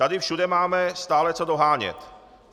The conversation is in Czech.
Tady všude máme stále co dohánět.